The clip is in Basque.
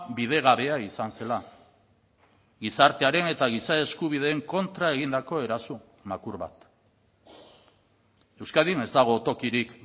bidegabea izan zela gizartearen eta giza eskubideen kontra egindako eraso makur bat euskadin ez dago tokirik